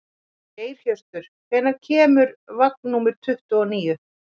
Geirhjörtur, hvenær kemur vagn númer tuttugu og níu?